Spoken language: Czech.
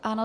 Ano.